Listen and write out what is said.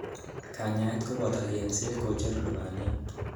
Kanyaet koboto eng'set kocher lubaniat.